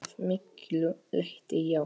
Að miklu leyti já.